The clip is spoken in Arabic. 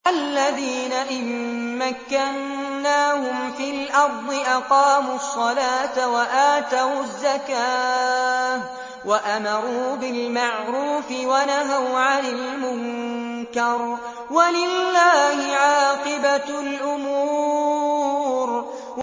الَّذِينَ إِن مَّكَّنَّاهُمْ فِي الْأَرْضِ أَقَامُوا الصَّلَاةَ وَآتَوُا الزَّكَاةَ وَأَمَرُوا بِالْمَعْرُوفِ وَنَهَوْا عَنِ الْمُنكَرِ ۗ وَلِلَّهِ عَاقِبَةُ الْأُمُورِ